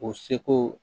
O seko